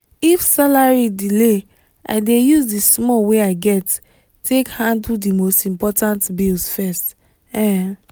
if salary delay i dey use the small wey i get take handle the most important bills first. um